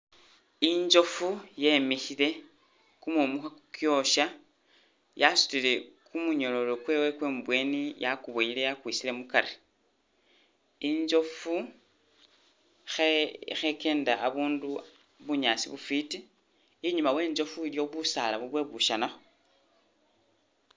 Injofu yemikhile, kumumu khakukyosya, yasutile kumunyololo kwewe kwe mubweni yakuboyele yakwisile mukari, injofu khe khekenda abundu bunyaasi bufwiti, inyuma we njofu iliyo busaala bubweshanakho